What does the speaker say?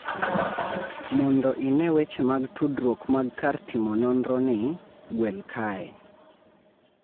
Mondo ine weche mag tudruok mag kar timo nonro ni, gwel kae.